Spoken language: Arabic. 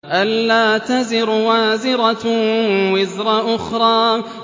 أَلَّا تَزِرُ وَازِرَةٌ وِزْرَ أُخْرَىٰ